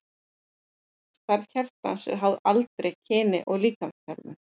Stærð hjartans er háð aldri, kyni og líkamsþjálfun.